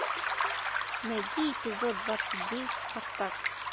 найти эпизод двадцать девять спартак